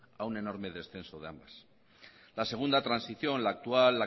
a un enorme descenso de ambas la segunda transición la actual